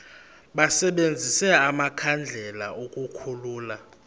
basebenzise amakhandlela ukukhulula